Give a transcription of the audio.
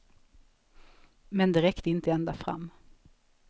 Men det räckte inte ända fram.